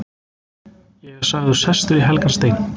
Ég er sagður sestur í helgan stein.